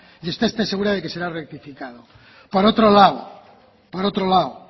y esté usted segura de que será rectificado por otro lado